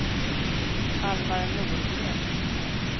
Alvar Norgren